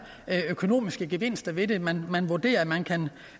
økonomiske gevinster ved det man man vurderer at man kan